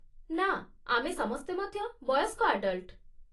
ନା, ଆମେ ସମସ୍ତେ ମଧ୍ୟ ବୟସ୍କ ଆଡଲ୍ଟ ।